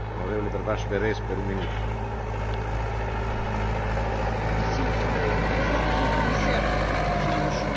Monsieur le Président, Monsieur le Commissaire, sur le chemin de Paris et de Lima, trois bonnes nouvelles sont devant nous.